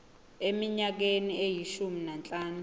eminyakeni eyishumi nanhlanu